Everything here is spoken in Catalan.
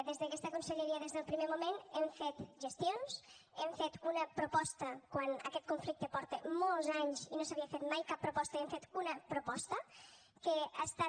des d’aquesta conselleria des del primer moment hem fet gestions hem fet una proposta quan aquest conflicte porta molts anys i no s’havia fet mai cap proposta i hem fet una proposta que ha estat